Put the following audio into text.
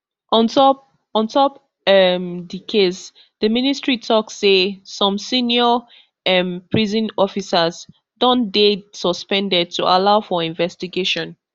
on top on top um di case di ministry tok say some senior um prison officers don dey suspended to allow for investigation